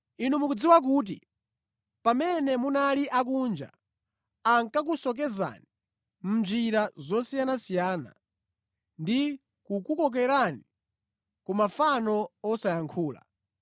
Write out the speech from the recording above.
Inu mukudziwa kuti pamene munali akunja, ankakusocheretsani mʼnjira zosiyanasiyana ndi kukukokerani ku mafano osayankhula.